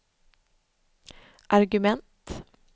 argument